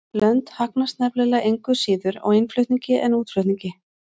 Lönd hagnast nefnilega engu síður á innflutningi en útflutningi.